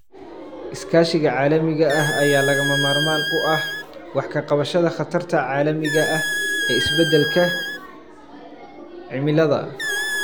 Iskaashiga caalamiga ah ayaa lagama maarmaan u ah wax ka qabashada khatarta caalamiga ah ee isbeddelka cimilada.